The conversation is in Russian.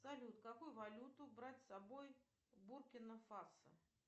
салют какую валюту брать с собой в буркина фасо